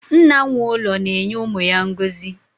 Nna nwe ụlọ na-enye umu ya ngozi